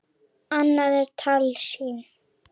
Annað er tálsýn.